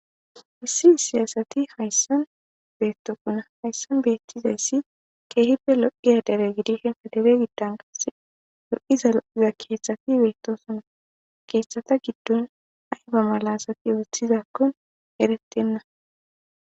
Issi issiy asati hayssan betokona hayssan betizayssi keehibe lo'iya dere gidishen kadebe giddan kase lo'iza lo'iza kethati beettosona keeththata giddon ayba malasati othizakon eretenna